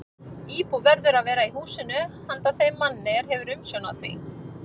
Íbúð verður að vera í húsinu handa þeim manni, er hefur umsjón á því.